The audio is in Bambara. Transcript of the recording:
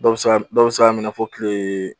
Dɔw be se k'a m dɔw be se k'a minɛ fɔ tilee